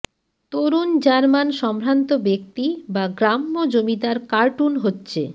তরুণ German সম্ভ্রান্ত ব্যক্তি বা গ্রাম্য জমিদার কার্টুন হচ্ছে